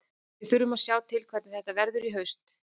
Við þurfum að sjá til hvernig þetta verður í haust.